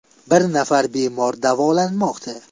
Bir nafar bemor davolanmoqda.